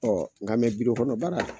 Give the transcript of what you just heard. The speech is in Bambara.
Ɔɔ nga kɔnɔ baara